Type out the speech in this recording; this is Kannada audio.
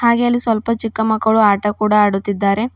ಹಾಗೆ ಅಲ್ಲಿ ಸ್ವಲ್ಪ ಚಿಕ್ಕ ಮಕ್ಕಳು ಆಟ ಆಡುತ್ತಿದ್ದಾರೆ.